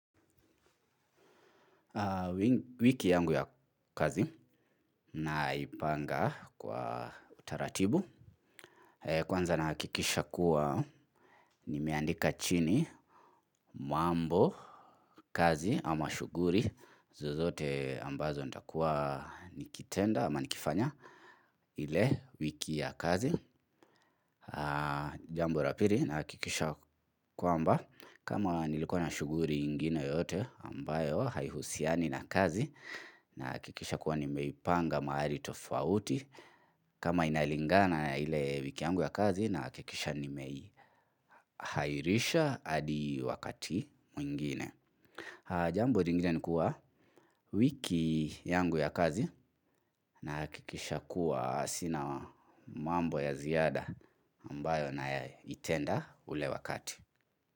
Wiki yangu ya kazi naipanga kwa taratibu. Kwanza nahakikisha kuwa nimeandika chini mambo, kazi ama shughuli zozote ambazo nitakua nikitenda ama nikifanya ile wiki ya kazi. Jambo la pili nahakikisha kwamba kama nilikuwa na shughuli ingine yote ambayo haihusiani na kazi nahakikisha kuwa nimeipanga mahali tofauti. Kama inalingana na ile wiki yangu ya kazi nahakikisha nimeihairisha hadi wakati mwingine. Jambo lingine ni kuwa, wiki yangu ya kazi nahakikisha kuwa sina mambo ya ziada ambayo naitenda ule wakati.